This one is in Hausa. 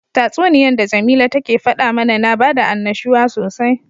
Tatsuniyan da jamila take fada mana na bada annashuwa sosai.